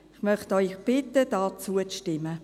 Ich möchte Sie bitten, hier zuzustimmen.